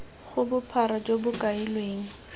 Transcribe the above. ga bophara jo bo kailweng